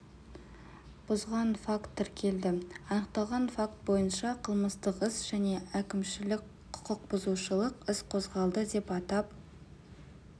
бұзған факт тіркелді анықталған факт бойынша қылмыстық іс және әкімшілік құқықбұзушылық іс қозғалды деп атап